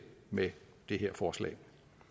med det her forslag